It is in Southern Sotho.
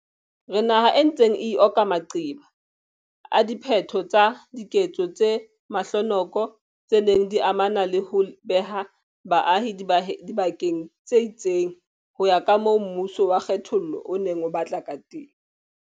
Re naha e ntseng e ikoka maqeba a diphetho tsa diketso tse mahlonoko tse neng di amana le ho beha baahi dibakeng tse itseng ho ya kamoo mmuso wa kge thollo o neng o batla kateng.